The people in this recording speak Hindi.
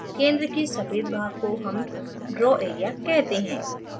centre के सफ़ेद भाग को हम draw area कहते हैं